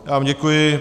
Já vám děkuji.